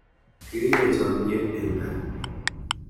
Kiripe chomyet eng kaa